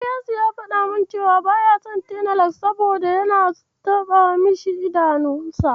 Ilyasu ya faɗa min cewa baya son tenalak, saboda yana taɓa idanunsa.